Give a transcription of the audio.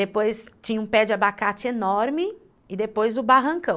Depois tinha um pé de abacate enorme e depois o barrancão.